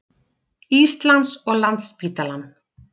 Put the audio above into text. Íslands og Landspítalann.